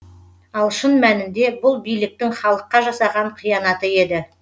ал шын мәнінде бұл биліктің халыққа жасаған қиянаты еді